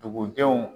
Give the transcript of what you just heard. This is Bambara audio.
Dugudenw